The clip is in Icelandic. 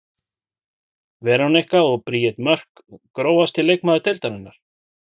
Veronika og Bríet Mörk Grófasti leikmaður deildarinnar?